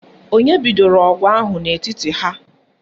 Onye bidoro ọgụ ahụ n'etiti ha?